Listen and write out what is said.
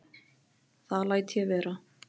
Það læt ég vera